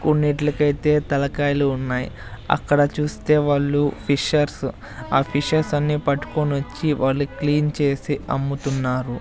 కొన్నిట్లకైతే తలకాయలు ఉన్నాయ్ అక్కడ చూస్తే వాళ్ళు ఫిషర్స్ ఆ ఫిషెస్ అన్ని పట్టుకొనొచ్చి వాళ్ళు క్లీన్ చేసి అమ్ముతున్నారు.